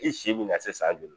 I si bɛna se san joli